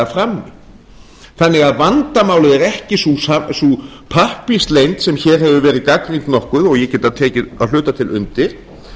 frammi þannig að vandamálið er ekki sú pappírsleynd sem hér hefur verið gagnrýnd nokkuð og ég get tekið að hluta til undir